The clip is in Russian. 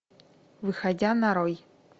выходя нарой